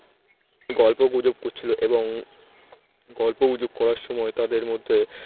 গল্প গুজব করছিল এবং গল্পগুজব করার সময় তাদের মধ্যে